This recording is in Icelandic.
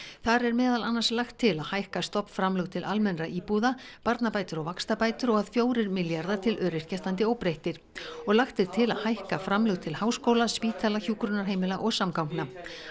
þar er meðal annars lagt til að hækka stofnframlög til almennra íbúða barnabætur og vaxtabætur og að fjórir milljarðar til öryrkja standi óbreyttir og lagt er til að hækka framlög til háskóla spítala hjúkrunarheimila og samgangna